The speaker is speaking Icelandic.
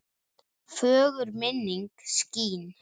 Fögur minning skín.